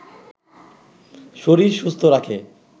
শরীর সুস্থ রাখে